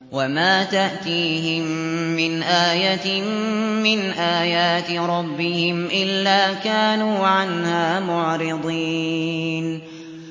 وَمَا تَأْتِيهِم مِّنْ آيَةٍ مِّنْ آيَاتِ رَبِّهِمْ إِلَّا كَانُوا عَنْهَا مُعْرِضِينَ